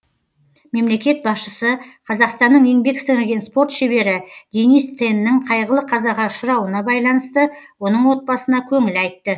мемлекет басшысы қазақстанның еңбек сіңірген спорт шебері денис теннің қайғылы қазаға ұшырауына байланысты оның отбасына көңіл айтты